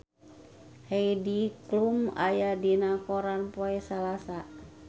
Heidi Klum aya dina koran poe Salasa